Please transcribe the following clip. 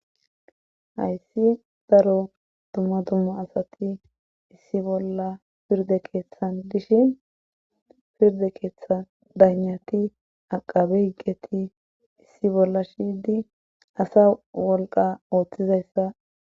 hayssi daro dumma dumma asati issi bolla pirde keeththan dishi pirde keeththan daynati aqabe higgeti issi bolla shiydi asa wolqa ooththizayssa